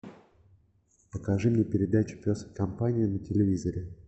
покажи мне передачу пес и компания на телевизоре